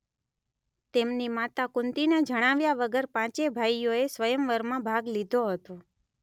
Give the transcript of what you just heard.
તેમની માતા કુંતીને જણાવ્યા વગર પાંચેય ભાઈઓએ સ્વયંવરમાં ભાગ લીધો હતો.